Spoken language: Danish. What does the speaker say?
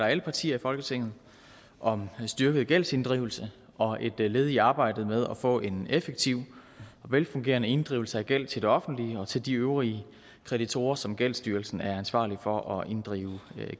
alle partier i folketinget om en styrket gældsinddrivelse og et led i arbejdet med at få en effektiv og velfungerende inddrivelse af gæld til det offentlige og til de øvrige kreditorer som gældsstyrelsen er ansvarlig for at inddrive